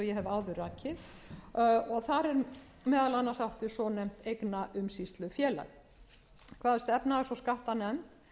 áður rakið og þar er meðal annars átt við svonefnt eignaumsýslufélag kvaðst efnahags og skattanefnd